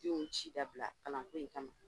Denw ci dabila kalanko in kama